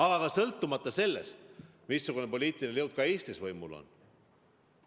Ja ka sõltumata sellest, missugune poliitiline jõud Eestis võimul on.